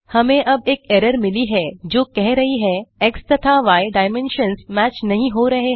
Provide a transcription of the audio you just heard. हमें अब एक एरर मिली हैं जो कह रही है एक्स तथा य डायमेंशन्स मैच नहीं हो रहे हैं